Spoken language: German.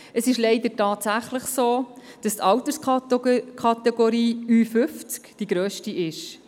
Es ist leider tatsächlich so, dass die Alterskategorie Ü-50 die grösste ist.